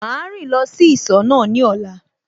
Màá rìn lọ sí ìsọ̀ náà ní ọ̀la